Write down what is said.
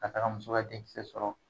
Ka taaga muso ka denkisɛ sɔrɔ.